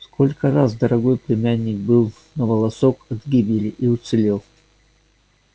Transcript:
сколько раз дорогой племянник был на волосок от гибели и уцелел